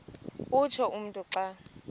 utsho umntu xa